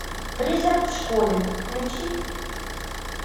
призрак в школе включи